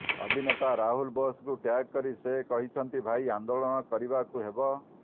ଅଭିନେତା ରାହୁଲ୍ ବୋଷଙ୍କୁ ଟ୍ୟାଗ୍ କରି ସେ କହିଛନ୍ତି ଭାଇ ଆନ୍ଦୋଳନ କରିବାକୁ ହେବ